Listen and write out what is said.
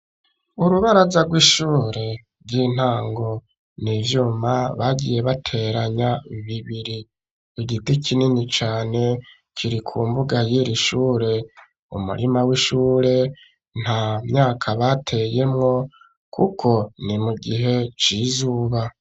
Urubaraza rw'ishure ry'intango n'ivyuma bagiye bateranya bibiri. Igiti kinini cane kiri ku mbuga yiri shure. Umurima w'ishure nta myaka bateyemwo kuko ni mu gihe c'izuba.